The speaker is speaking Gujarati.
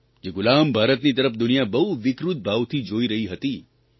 જે ગુલામ ભારતની તરફ દુનિયા બહુ વિકૃત ભાવથી જોઇ રહી હતી